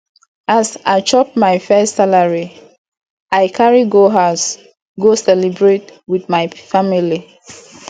as i chop my first salary i carry go house go celebrate with my family